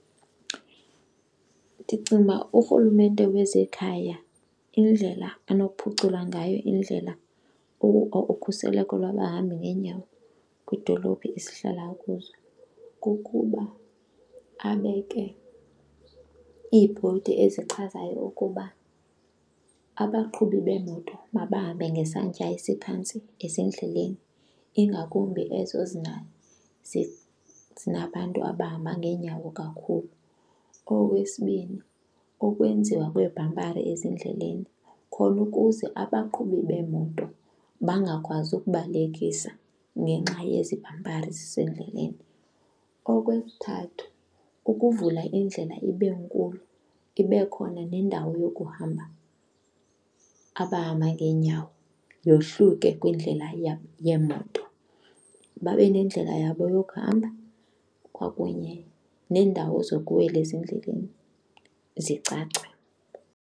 Ndicinga uba uRhulumente wezekhaya indlela anokuphucula ngayo indlela ukhuseleko lwabahambi ngeenyawo kwidolophi esihlala kuzo kukuba abeke iibhodi ezichazayo ukuba abaqhubi beemoto mabahambe ngesantya esiphantsi ezindleleni ingakumbi ezo zinabantu abahamba ngeenyawo kakhulu. Okwesibini ukwenziwa kweebhampari ezindleleni khona ukuze abaqhubi beemoto bangakwazi ukubalekisa ngenxa yezibhampari zisendleleni. Okwesithathu ukuvula indlela ibe nkulu ibe khona nendawo yokuhamba abahamba ngeenyawo, yohluke kwindlela yeemoto. Babe nendlela yabo yokuhamba kwakunye neendawo zokuwela ezindleleni zicace.